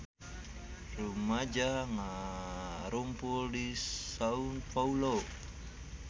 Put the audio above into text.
Rumaja ngarumpul di Sao Paolo